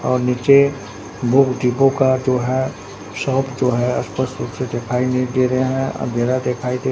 और नीचे बहुत दीपों का जो है शॉप जो है स्पष्ट रूप से दिखाई नहीं दे रहा है अंधेरा दिखाई दे--